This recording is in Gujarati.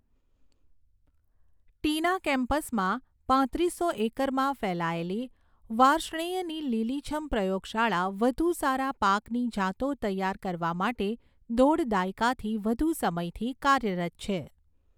ટીના કેમ્પસમાં પાંત્રીસો એકરમાં ફેલાયેલી વાર્ષ્ણેયની લીલીછમ પ્રયોગશાળા વધુ સારા પાકની જાતો તૈયાર કરવા માટે દોઢ દાયકાથી વધુ સમયથી કાર્યરત છે.